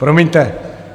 Promiňte.